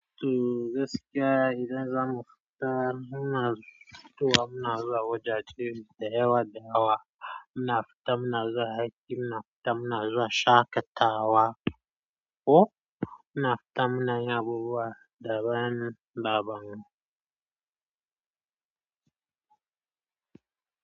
To gaskiya idan zamu fita, muna zuwa wajaje da yawa dayawa. Muna fita muna zuwa aiki, muna fita muna zuwa shaƙatawa, ko muna fita mun na yi abubuwa daban daban.